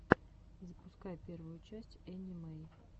запускай первую часть энни мэй